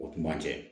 O tuma cɛ